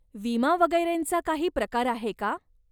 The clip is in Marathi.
विमा वगैरेंचा काही प्रकार आहे का?